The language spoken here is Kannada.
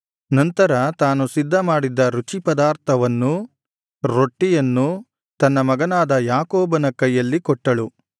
ನಂತರ ತಾನು ಸಿದ್ಧಮಾಡಿದ್ದ ರುಚಿಪದಾರ್ಥವನ್ನೂ ರೊಟ್ಟಿಯನ್ನೂ ತನ್ನ ಮಗನಾದ ಯಾಕೋಬನ ಕೈಯಲ್ಲಿ ಕೊಟ್ಟಳು